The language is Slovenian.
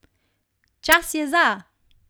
Čas je za!